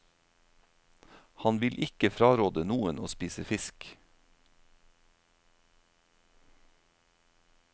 Han vil ikke fraråde noen å spise fisk.